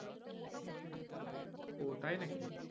ও তাই নাকি?